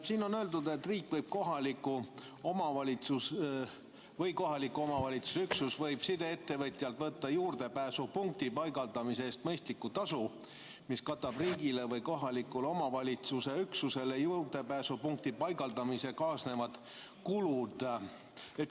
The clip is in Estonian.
Siin on öeldud, et riik või kohaliku omavalitsuse üksus võib sideettevõtjalt võtta juurdepääsupunkti paigaldamise eest mõistlikku tasu, mis katab riigile või kohalikule omavalitsusüksusele juurdepääsupunkti paigaldamisega kaasnevad kulud.